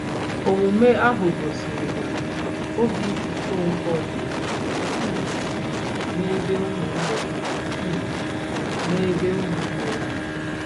Omume ahụ gosiri na obi Okonkwo dị um n'ebe ụmụnne um n'ebe ụmụnne ya nọ.